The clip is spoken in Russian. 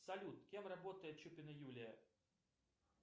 салют кем работает чупина юлия